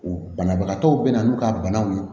Banabagatɔw bɛ na n'u ka banaw ye